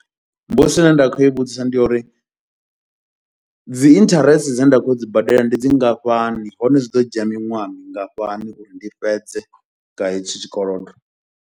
Mbudziso ine nda kho i vhudzisa ndi yo uri, dzi interest dzine nda khoyo u dzi badela ndi dzingafhani, hone zwi ḓo dzhia miṅwaha mingafhani uri ndi fhedze nga hetshi tshikolodo.